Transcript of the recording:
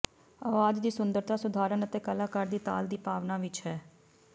ਆਵਾਜ਼ ਦੀ ਸੁੰਦਰਤਾ ਸੁਧਾਰਨ ਅਤੇ ਕਲਾਕਾਰ ਦੀ ਤਾਲ ਦੀ ਭਾਵਨਾ ਵਿਚ ਹੈ